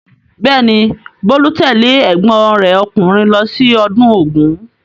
Bẹ́ẹ̀ ni, Bolu's tẹ́lẹ̀ ẹ̀gbọ́n rẹ̀ ọkùnrin lọ sí ọdún Ògún.